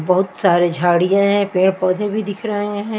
बहुत सारे झाड़ियाँ हैं पेड़ पौधे भी दिख रहे हैं।